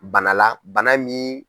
Banala bana min.